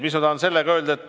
Mis ma tahan sellega öelda?